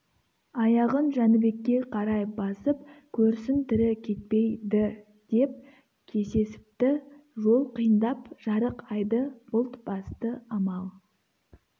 аяғын жәнібекке қарай басып көрсін тірі кетпей-ді деп кесесіпті жол қиындап жарық айды бұлт басты амал